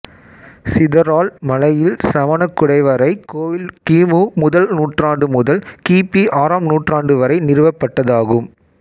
சிதறால் மலையில் சமணக் குடைவரைக் கோயில் கிமு முதல் நூற்றாண்டு முதல் கிபி ஆறாம் நூற்றாண்டு வரை நிறுவப்பட்டதாகும்